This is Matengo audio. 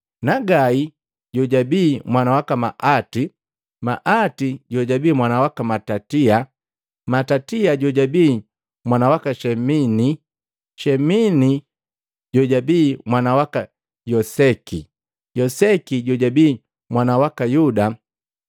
Nagai jojabi mwana waka Maati, Maati jojabii mwana waka Matatia, Matatiasi jojabii mwana waka Shemeni, Shemeli jojabii mwana waka Yoseki, Yoseki jojabii mwana waka Yuda,